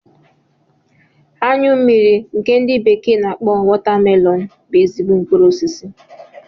Anyụ mmiri nke ndi bekee n'akpọ Watermelon bú ezigbo mkpụrụ osisi